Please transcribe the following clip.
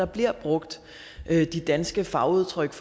bliver brugt de danske fagudtryk